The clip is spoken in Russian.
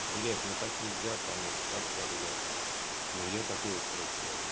блять ну так нельзя конечно сам себя ругаю но я такой вот просто человек